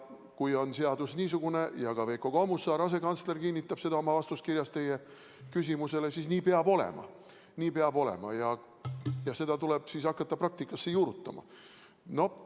Kui on seadus niisugune ja ka Veiko Kommusaar, asekantsler, kinnitab seda oma vastuskirjas teie küsimusele, siis nii peab olema ja seda tuleb hakata praktikasse juurutama.